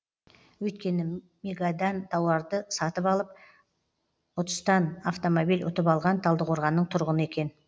өйткені мегадан тауарды сатып алып ұтыстан автомобиль ұтып алған талдықорғанның тұрғыны екен